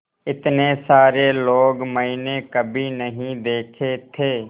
इतने सारे लोग मैंने कभी नहीं देखे थे